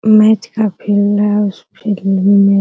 image काफी धुंधला है उसपे